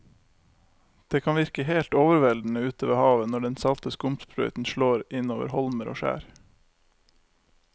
Det kan virke helt overveldende ute ved havet når den salte skumsprøyten slår innover holmer og skjær.